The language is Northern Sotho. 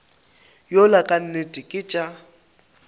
yola ka nnete ke tša